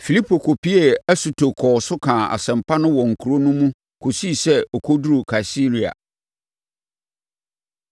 Filipo kɔpuee Asoto kɔɔ so kaa asɛmpa no wɔ nkuro no mu kɔsii sɛ ɔkɔduruu Kaesarea.